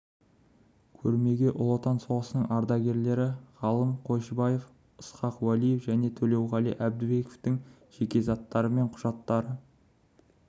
көрмеге ұлы отан соғысының ардагерлері ғалым қойшыбаев ысқақ уәлиев және төлеуғали әбдібековтың жеке заттары мен құжаттары